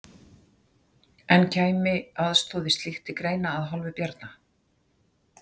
En kæmi aðstoð við slíkt til greina að hálfu Bjarna?